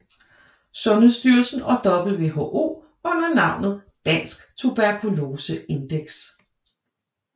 Sundhedsstyrelsen og WHO under navnet Dansk Tuberkulose Index